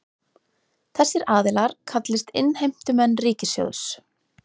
Þessir aðilar kallist innheimtumenn ríkissjóðs